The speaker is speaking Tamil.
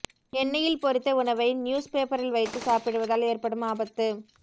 எண்ணெயில் பொரித்த உணவை நியூஸ் பேப்பரில் வைத்து சாப்பிடுவதால் ஏற்படும் ஆபத்து